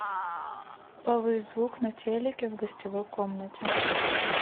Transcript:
повысь звук на телике в гостевой комнате